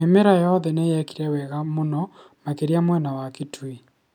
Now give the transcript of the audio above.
Mĩmera yothe nĩyekire wega mũno makĩria mwena wa Kitui